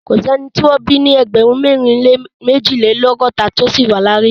Kò sí ẹni tí wọ́n bí ní ẹgbẹ̀rún mẹ́rin lé méjìlélọ́gọ́ta tí ó ṣì wà láàyè.